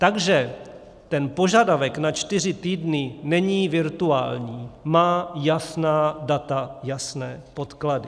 Takže ten požadavek na čtyři týdny není virtuální, má jasná data, jasné podklady.